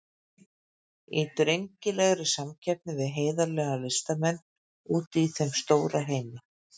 Í drengilegri samkeppni við heiðarlega listamenn úti í þeim stóra heimi.